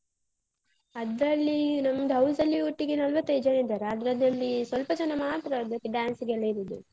ಅದ್ರಲ್ಲಿ ನಮ್ದ್ house ಅಲ್ಲಿ ಒಟ್ಟಿಗೆ ನಲವತ್ತೈದ್ ಜನ ಇದ್ದಾರ. ಅದ್ರದಲ್ಲಿ ಸ್ವಲ್ಪ ಜನ ಮಾತ್ರ ಅದಕ್ಕೆ dance ಗೆಲ್ಲ ಇರೊದು.